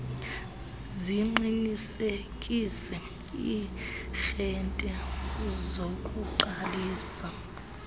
ziqinisekise iiarhente zokuqalisa